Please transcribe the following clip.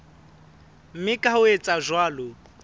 mme ka ho etsa jwalo